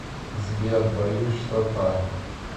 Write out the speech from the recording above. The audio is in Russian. сбер боюсь что так